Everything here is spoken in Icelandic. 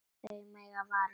Þau mega vara sig.